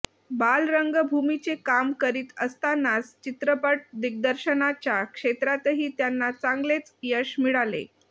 बालरंगभूमीचे काम करीत असतानाच चित्रपट दिग्दर्शनाच्या क्षेत्रातही त्यांना चांगलेच यश मिळाले